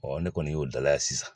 ne kɔni y'o dalaya sisan.